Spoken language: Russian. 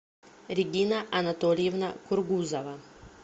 регина анатольевна кургузова